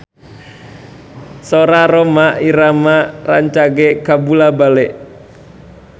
Sora Rhoma Irama rancage kabula-bale